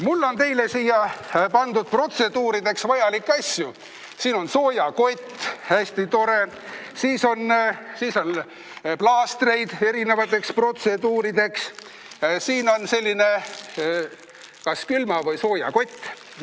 Mul on teile siia pandud protseduurideks vajalikke asju: siin on soojakott, selline hästi tore, siis on plaastreid erinevateks protseduurideks ja veel selline kas külma- või soojakott.